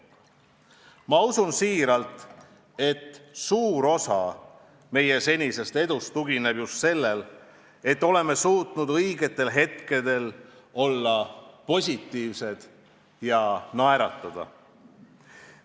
Ma usun siiralt, et suur osa meie senisest edust tugineb just sellele, et oleme suutnud õigetel hetkedel olla positiivsed ja naeratada.